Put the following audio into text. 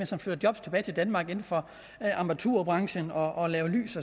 som fører job tilbage til danmark inden for armaturbranchen og laver lys